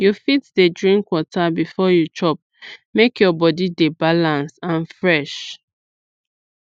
you fit dey drink water before you chop make your body dey balance and fresh